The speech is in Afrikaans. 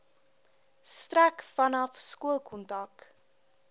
strek vanaf skoolkontak